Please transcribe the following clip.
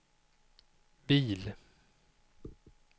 bil